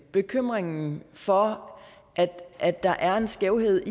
bekymringen for at der er en skævhed